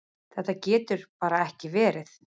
Þetta getur bara ekki verið.